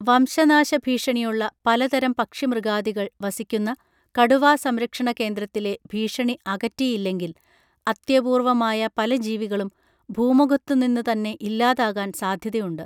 വംശനാശ ഭീഷണിയുള്ള പലതരം പക്ഷി മൃഗാദികൾ വസിക്കുന്ന കടുവാ സംരക്ഷണ കേന്ദ്രത്തിലെ ഭീഷണി അകറ്റിയില്ലെങ്കിൽ അത്യപൂർവമായ പല ജീവികളും ഭൂമുഖത്തു നിന്ന് തന്നെ ഇല്ലാതാകാൻ സാധ്യതയുണ്ട്